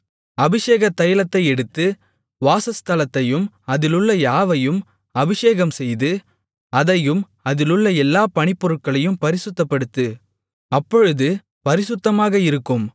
அபிஷேக தைலத்தை எடுத்து வாசஸ்தலத்தையும் அதிலுள்ள யாவையும் அபிஷேகம்செய்து அதையும் அதிலுள்ள எல்லாப் பணிப்பொருட்களையும் பரிசுத்தப்படுத்து அப்பொழுது பரிசுத்தமாக இருக்கும்